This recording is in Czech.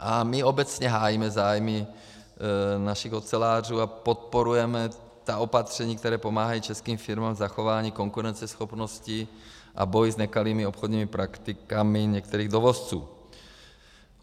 A my obecně hájíme zájmy našich ocelářů a podporujeme ta opatření, která pomáhají českým firmám k zachování konkurenceschopnosti, a boj s nekalými obchodními praktikami některých dovozců.